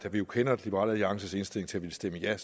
vi jo kender liberal alliances indstilling til at ville stemme ja